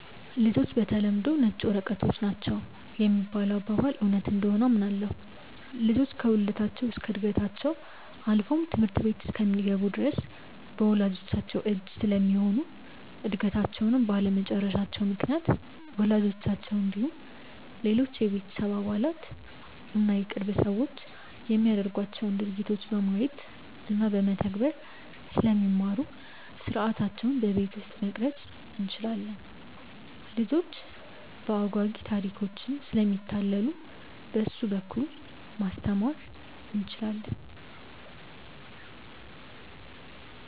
''ልጆች በተለምዶ ነጭ ወረቀቶች ናቸው ''የሚባለው አባባል እውነት እንደሆነ አምናለሁ። ልጆች ከውልደታቸው እስከ ዕድገታቸው አልፎም ትምህርት ቤት እስኪገቡ ድረስ በወላጅቻቸው እጅ ስለሚሆኑ እድገታቸውንም ባለመጨረሳቸው ምክንያት ወላጆቻቸው እንዲሁም ሌሎች የቤተሰብ አባላት እና የቅርብ ሰዎች የሚያደርጓቸውን ድርጊቶች በማየት እና በመተግበር ስለሚማሩ ሥርዓታቸውን በቤት ውስጥ መቅረፅ እንችላለን። ልጆች በአጓጊ ታሪኮችም ስለሚታለሉ በእሱ በኩል ማስተማር እንችላለን።